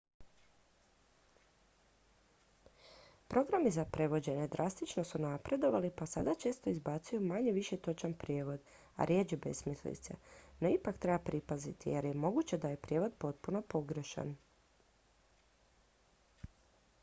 programi za prevođenje drastično su napredovali pa sada često izbacuju manje-više točan prijevod a rjeđe besmislice no ipak treba pripaziti jer je moguće da je prijevod potpuno pogrešan